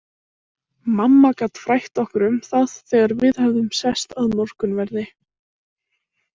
Mamma gat frætt okkur um það þegar við höfðum sest að morgunverði.